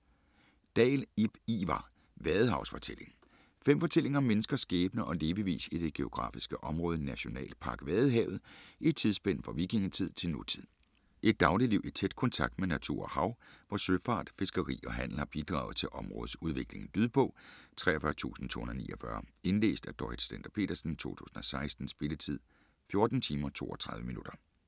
Dahl, Ib Ivar: Vadehavsfortælling Fem fortællinger om menneskers skæbne og levevis i det geografiske område Nationalpark Vadehavet i et tidsspænd fra vikingetid til nutid. Et dagligliv i tæt kontakt med natur og hav, hvor søfart, fiskeri og handel har bidraget til områdets udvikling. Lydbog 43249 Indlæst af Dorrit Stender-Petersen, 2016. Spilletid: 14 timer, 32 minutter.